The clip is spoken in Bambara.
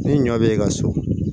Ni ɲɔ bɛ ka so